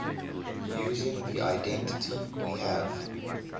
using the identity we have